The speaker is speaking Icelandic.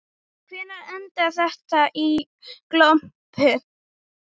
Hvernig endaði þetta í glompu?